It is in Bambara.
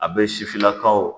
A bɛ sifinnakaw